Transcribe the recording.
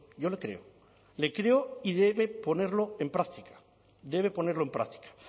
yo le creo le creo y debe ponerlo en práctica debe ponerlo en práctica